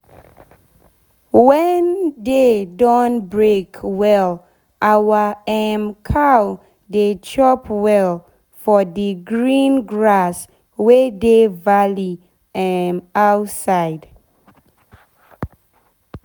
wen day don break well our um cow dey chop well for d green grass wey dey valley um side.